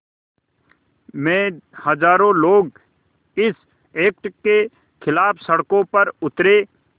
में हज़ारों लोग इस एक्ट के ख़िलाफ़ सड़कों पर उतरे